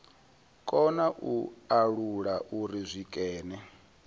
kona u alula uri zwikene